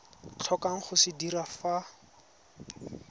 tlhokang go se dira fa